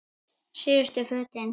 Síðustu fötin.